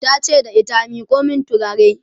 tace da ita " miƙo min turare!"